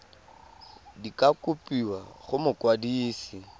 di ka kopiwa go mokwadise